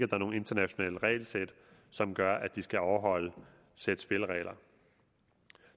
var nogle internationale regelsæt som gør at de skal overholde det sæt spilleregler